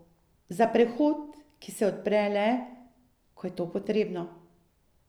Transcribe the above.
Za prehod, ki se odpre le, ko je to potrebno?